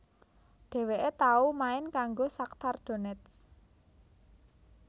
Dhèwèké tau main kanggo Shakhtar Donetsk